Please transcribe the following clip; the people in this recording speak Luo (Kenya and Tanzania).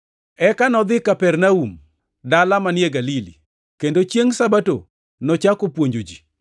Eka nodhi Kapernaum, dala manie Galili, kendo chiengʼ Sabato nochako puonjo ji.